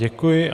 Děkuji.